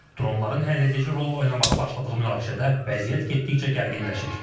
Dronların həlledici rol oynamağa başladığı münaqişədə vəziyyət getdikcə gərginləşir.